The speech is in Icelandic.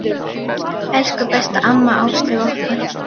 Elsku besta amma Áslaug okkar.